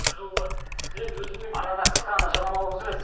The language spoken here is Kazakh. бір жол бар мен өзімнің арнада қысқа ғана жарнамалық үзіліс